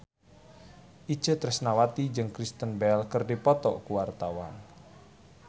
Itje Tresnawati jeung Kristen Bell keur dipoto ku wartawan